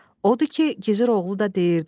Odur ki, Gizir oğlu da deyirdi: